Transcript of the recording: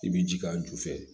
I bɛ ji k'a ju fɛ